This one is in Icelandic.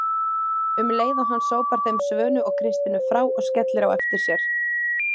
um leið og hann sópar þeim Svönu og Kristínu frá og skellir á eftir sér.